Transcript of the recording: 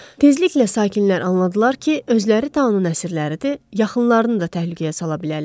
Tezliklə sakinlər anladılar ki, özləri taun əsirləridir, yaxınlarını da təhlükəyə sala bilərlər.